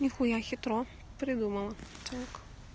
нехуя хитро придумала так